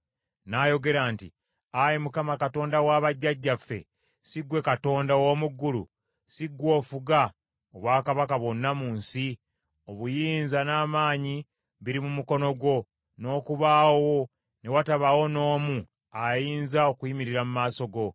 n’ayogera nti, “Ayi Mukama , Katonda wa bajjajjaffe, si ggwe Katonda ow’omu ggulu? Si ggwe ofuga obwakabaka bwonna mu nsi? Obuyinza n’amaanyi biri mu mukono gwo, n’okubaawo ne watabaawo n’omu ayinza okuyimirira mu maaso go.